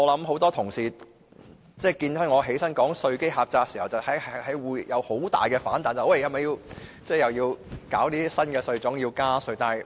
很多同事聽到我說稅基狹窄時會有很大的反彈，擔心是否要設立新稅種或加稅。